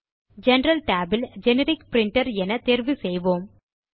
general Tab இல் generic printer என தேர்வு செய்வோம்